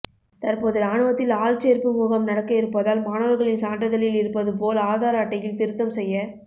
தற்போது ராணுவத்தில் ஆள்சேர்ப்பு முகாம் நடக்க இருப்பதால் மாணவர்களின் சான்றிதழில் இருப்பது போல் ஆதார் அட்டையில் திருத்தம் செய்ய